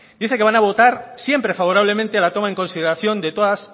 dicen que van a votar siempre favorablemente a la toma en consideración de todas